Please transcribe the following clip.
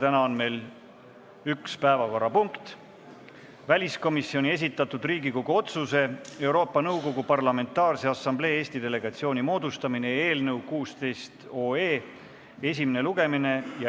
Täna on meil üks päevakorrapunkt: väliskomisjoni esitatud Riigikogu otsuse "Euroopa Nõukogu Parlamentaarse Assamblee Eesti delegatsiooni moodustamine" eelnõu esimene lugemine.